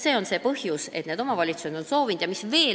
See on põhjus, miks on omavalitsused soovinud midagi ette võtta.